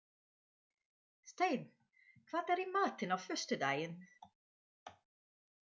Steinn, hvað er í matinn á föstudaginn?